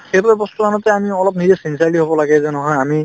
সেইবিলাক বস্তু আনোতে আমি অলপ নিজে sincerely হব লাগে যে নহয় আমি